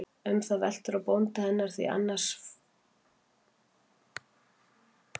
Um það veltur á bónda hennar, því án hans fulltingis má ekki beita því.